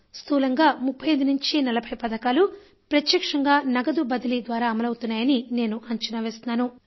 స్థూలంగా 35 నుంచి 40 పథకాలు ప్రత్యక్షంగా నగదు బదిలీ ద్వారా అమలవుతున్నాయని నేను అంచనా వేస్తున్నాను